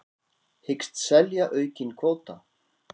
Hyggst selja aukinn kvóta